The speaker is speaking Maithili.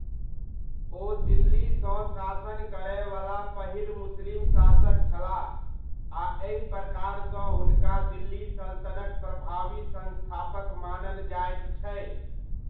ओ दिल्लीसँ शासन करयवला पहिल मुस्लिम शासक छलाह आ एहि प्रकारसँ हुनका दिल्ली सल्तनतक प्रभावी संस्थापक मानल जाइत छै।